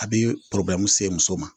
A bi se muso ma.